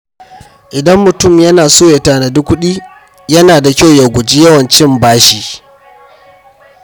Idan mutum yana so ya tanadi kuɗi, yana da kyau ya guji yawan cin bashi.